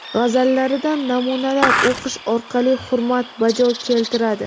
g‘azallaridan namunalar o‘qish orqali hurmat bajo keltiradi.